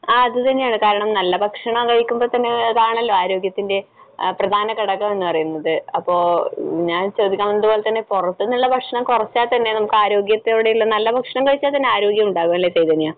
ആ അതുതന്നെയാണ്. കാരണം നല്ല ഭക്ഷണം കഴിക്കുമ്പോഴാണല്ലോ ആരോഗ്യത്തിന്റെ പ്രധാനഘടകം എന്ന് പറയുന്നത്. അപ്പൊ ഞാൻ ചോദിയ്ക്കാൻ വന്നതുപോലെ തന്നെ പുറത്തുന്നുള്ള ഭക്ഷണം കുറച്ചാൽത്തന്നെ നമുക്ക് ആരോഗ്യത്തോടെയുള്ള നല്ല ഭക്ഷണം കഴിച്ചാൽത്തന്നെ ആരോഗ്യമുണ്ടാകും. അല്ലെ ചൈതന്യ?